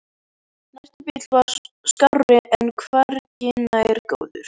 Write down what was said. Næsti bíll var skárri en hvergi nærri góður.